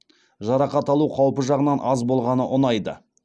жарақат алу қаупі жағынан аз болғаны ұнайды